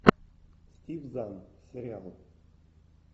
стив зан сериал